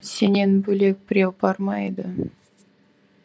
сенен бөлек біреу бар ма еді